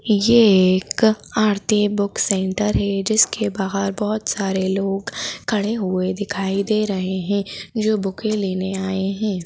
ये एक Aarti book centre है जिसके बाहर बहोत सारे लोग खड़े हुए दिखाई दे रहे है जो बुके लेने आए है।